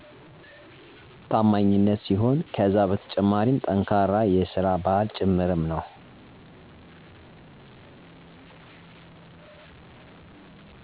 ታማኝነት ሲሆን ከዛ በተጨማሪም ጠንካራ የሰራ ባህል ጭምርም ነው።